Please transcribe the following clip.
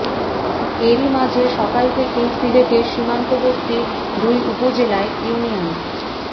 এরই মাঝে সকাল থেকেই সিলেটের সীমান্তবর্তী দুই উপজেলায় ইউনিয়ন